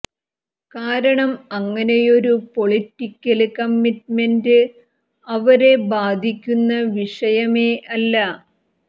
കാരണം അങ്ങനെയൊരു political commitment അവരെ ബാധിക്കുന്ന വിഷയമേ അല്ല